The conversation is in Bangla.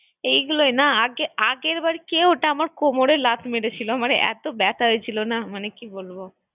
এই গুলোই না আগের বার কেউ একটা আমার কোমরে লাথ মেরেছিলো আমার এতো ব্যাথা হয়েছিল না কি বলবো